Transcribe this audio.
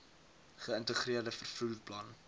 geïntegreerde vervoer plan